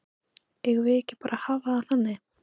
Eigum við ekki bara að hafa það þannig?